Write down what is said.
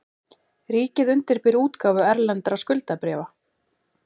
Ríkið undirbýr útgáfu erlendra skuldabréfa